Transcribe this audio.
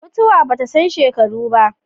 Mutuwa ba ta san shekaru ba.